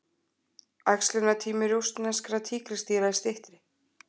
Æxlunartími rússneskra tígrisdýra er styttri.